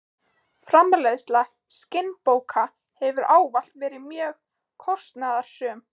Framleiðsla skinnbóka hefur ávallt verið mjög kostnaðarsöm.